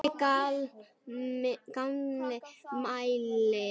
Tommi gamli mælir.